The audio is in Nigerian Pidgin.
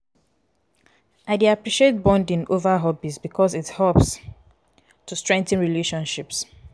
i dey appreciate bonding over hobbies because it helps to strengthen relationships.